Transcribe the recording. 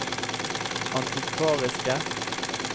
antikvariske